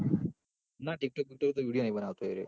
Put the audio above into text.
ના એ તો ટીક ટોક ના video નહિ બનાવ તો એરોય